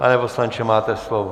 Pan poslanče, máte slovo.